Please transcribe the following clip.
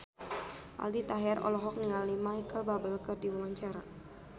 Aldi Taher olohok ningali Micheal Bubble keur diwawancara